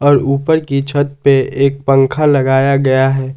और उपर की छत पे एक पंखा लगाया गया है।